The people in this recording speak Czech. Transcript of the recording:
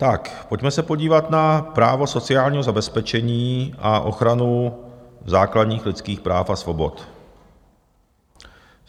Tak pojďme se podívat na právo sociálního zabezpečení a ochranu základních lidských práv a svobod.